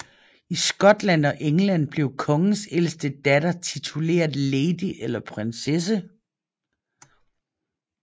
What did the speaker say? I Skotland og England blev kongens ældste datter tituleret lady eller prinsesse